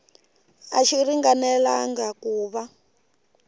a xi ringanelangi ku va